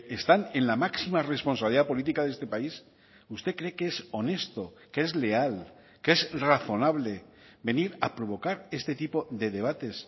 están en la máxima responsabilidad política de este país usted cree que es honesto que es leal que es razonable venir a provocar este tipo de debates